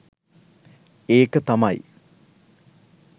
ඒක තමයි